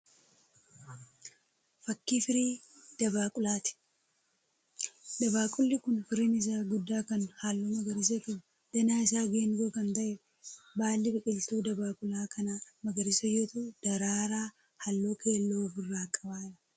Fakkii firii dabaaqulaati. Dabaaqulli kun firiin isaa guddaa kan halluu magariisa qabu danaa isa geengoo kan ta'eedha. Baalli biqiltuu dabaaqula kanaa magariisa yoo ta'u daraaraa halluu keelloo ofi irraa qaba.